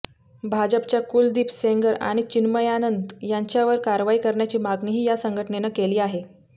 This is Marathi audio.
भाजपच्या कुलदीप सेंगर आणि चिन्मयानंद यांच्यावर कारवाई करण्याची मागणीही या संघटनेनं केली आहे